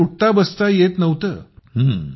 अजिबात उठताबसता येत नव्हतं